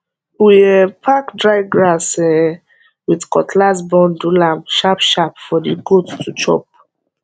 we um pack dry grass um with cutlass bundle am sharpsharp for the goats to chop